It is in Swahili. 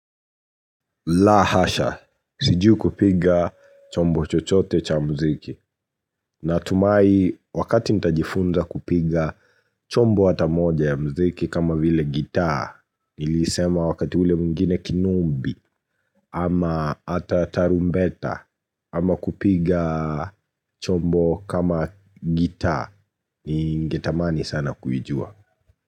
La hasha, sijui kupiga chombo chochote cha mziki Natumai wakati nita jifunza kupiga chombo hata moja ya mziki kama vile gitaa Nili isema wakati ule mwingine kinumbi ama hata tarumbeta ama kupiga chombo kama gitaa ni ngetamani sana kujua.